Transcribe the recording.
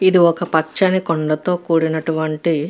ఇది ఒక పచ్చని కొండ తో కూడినటువంటి --